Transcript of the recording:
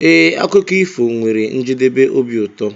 Ee, akụkọ ifo nwere njedebe obi ụtọ.